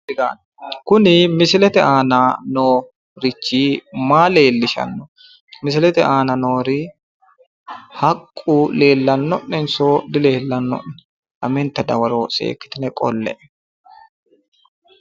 Kuni misilete aana noorichi maa leellishanno? misilete aana noori haqqu leellanno'nenso dileellanno'ne? lamenta dawaro seekkitine qolle"e.